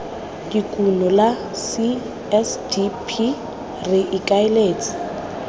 dikuno la csdp re ikaeletse